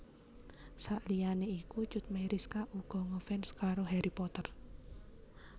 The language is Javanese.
Saliyané iku Cut Meyriska uga ngefans karo Harry Potter